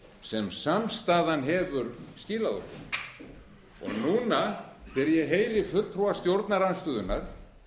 sem samstaðan hefur skilað okkur og núna þegar ég heyri fulltrúa stjórnarandstöðunnar